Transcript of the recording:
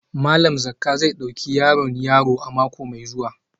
Malam Zakka zai dauki yaron yaro a mako mai zuwa